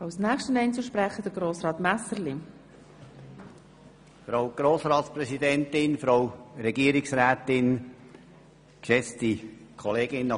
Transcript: Dann ist auch für den Staatswald und die Finanzen schon ziemlich viel getan.